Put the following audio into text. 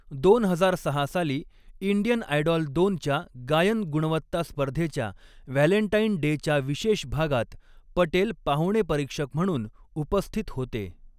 दोन हजार सहा साली, इंडियन आयडॉल दोनच्या गायन गुणवत्ता स्पर्धेच्या व्हॅलेंटाईन डेच्या विशेष भागात पटेल पाहुणे परीक्षक म्हणून उपस्थित होते.